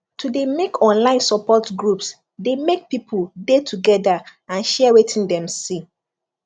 to de make online support groups de make people de together and share weti dem see